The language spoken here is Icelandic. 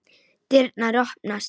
Dyrnar opnast.